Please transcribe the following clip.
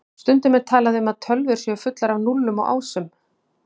Stundum er talað um að tölvur séu fullar af núllum og ásum.